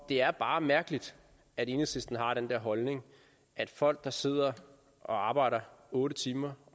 det er bare mærkeligt at enhedslisten har den der holdning at folk der sidder og arbejder otte timer